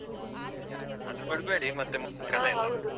ಆದ್ರೂ ಬಿಡ್ಬೇಡಿ ಮತ್ತೆ .